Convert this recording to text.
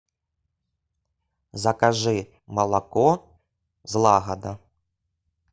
закажи молоко злагода